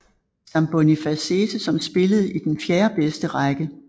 Sambonifacese som spillede i den fjerde bedste række